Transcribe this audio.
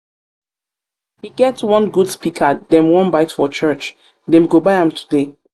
e get one good speaker dem wan buy for church dem go buy am today